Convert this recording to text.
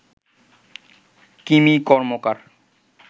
Kimi Karmakar